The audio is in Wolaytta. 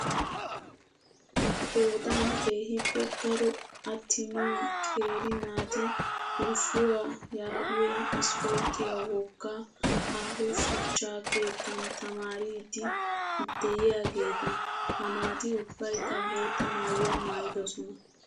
Qoodan keehippe daro attima qeeri naati wushuuwaa yaagiyoo ispporttiyaa wogga aaho shuchcha keettan tamaariidi dikyaageeta. Ha naati ubbayikka bootta maayyuwaa maayyidosona.